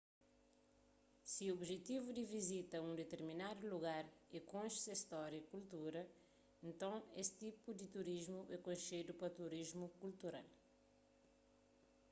si objetivu di vizita a un ditirminadu lugar é konxe se stória y kultura nton es tipu di turismu é konxedu pa turismu kultural